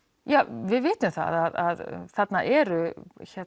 við vitum það að þarna eru